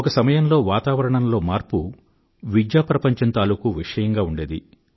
ఒక సమయంలో వాతావరణంలో మార్పు విద్యాప్రపంచం తాలూకూ విషయంగా ఉండేది